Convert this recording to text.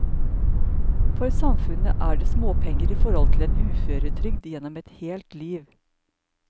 For samfunnet er det småpenger i forhold til en uføretrygd gjennom et helt liv.